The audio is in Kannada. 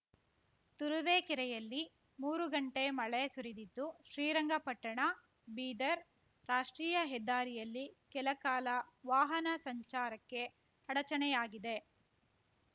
ತುರುವೇಕೆರೆಯಲ್ಲಿ ಮೂರು ಗಂಟೆ ಮಳೆ ಸುರಿದಿದ್ದು ಶ್ರೀರಂಗಪಟ್ಟಣಬೀದರ್‌ ರಾಷ್ಟ್ರೀಯ ಹೆದ್ದಾರಿಯಲ್ಲಿ ಕೆಲಕಾಲ ವಾಹನ ಸಂಚಾರಕ್ಕೆ ಅಡಚಣೆಯಾಗಿದೆ